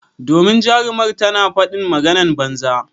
Domin jarumar tana fadin maganan banza.